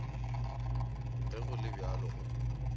ge go le bjalo go